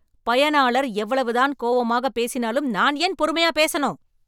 பயனாளர் எவ்வளவுதான் கோவமா பேசினாலும் , நான் ஏன் பொறுமையா பேசணும் ?